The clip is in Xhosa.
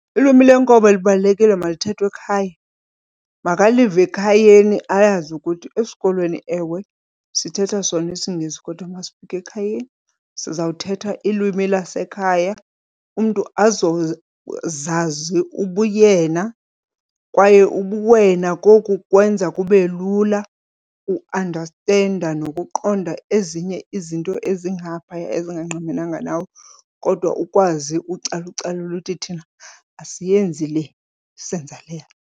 Ilwimi lenkobe libalulekile malithethwe ekhaya, makalive ekhayeni ayazi ukuthi esikolweni ewe sithetha sona isiNgesi kodwa uma sifika ekhayeni sizawuthetha ilwimi lasekhaya umntu azozazi ubuyena. Kwaye ubuwena koku kwenza kube lula uandastenda nokuqonda ezinye izinto ezingaphaya ezingqamenanga nawe, kodwa ukwazi ucalucalula uthi thina asiyenzi le senza le.